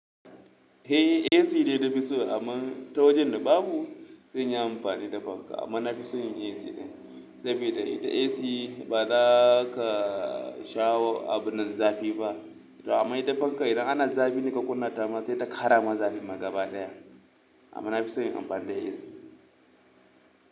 Eh, AC ne nafi so amma ta wajen da babu sai inyi amfani da fanka amma na fi son AC ɗin saboda ita AC bazaka shawo abunnan, zafi ba. To amma ita fanka idan ana zafi ne ka kunna ta ma sai ta ƙara ma zafi ma gabaɗaya. Amma nafi son yin amfani da AC.